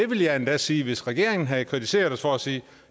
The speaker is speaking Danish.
vil endda sige at hvis regeringen havde kritiseret os for at sige at